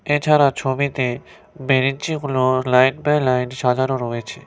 এছাড়া ছবিতে বেরেনচিগুলো লাইন বাই লাইন সাজানো রয়েছে।